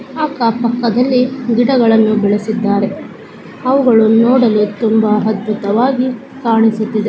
ಅಕ್ಕ ಪಕ್ಕ ದಾಲ್ಲಿ ಗಿಡಗಳನ್ನು ಬೆಳ್ಸಿದರೆ ಅವು ಗಳು ನೋಡಲು ಅದ್ಭುತ್ತವಾಗಿ ಕಾಣುತಿದೆ.